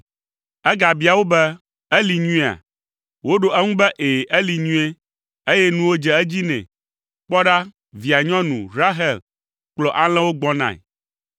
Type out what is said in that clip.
Egabia wo be, “Eli nyuiea?” Woɖo eŋu be, “Ɛ̃, eli nyuie, eye nuwo dze edzi nɛ. Kpɔ ɖa, via nyɔnu, Rahel kplɔ alẽwo gbɔnae.”